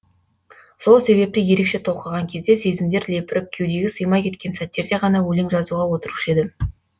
сол себепті ерекше толқыған кезде сезімдер лепіріп кеудеге сыймай кеткен сәттерде ғана өлең жазуға отырушы едім